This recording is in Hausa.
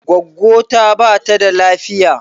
Gwaggwo ta bata da lafiya